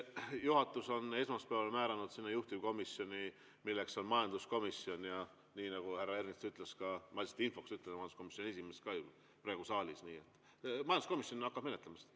Juhatus määras esmaspäeval sellele juhtivkomisjoni, milleks on majanduskomisjon, ja nii nagu härra Ernits ütles, ma lihtsalt infoks ütlen, majanduskomisjoni esimees on ju ka praegu saalis, et majanduskomisjon hakkab menetlema seda.